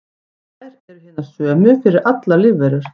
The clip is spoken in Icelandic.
þær eru hinar sömu fyrir allar lífverur